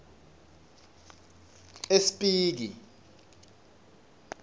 espiki